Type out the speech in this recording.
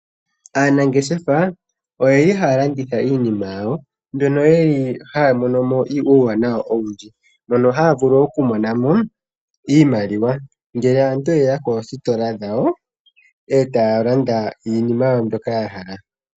Aanangeshefa oyeli haya landitha iinima yawo mbyono yeli haya mono mo uuwanawa owundji. Mono haya vulu okumona mo iimaliwa ngele aantu yeya koositola dhawo eta ya landa iinima yawo mbyoka yahala.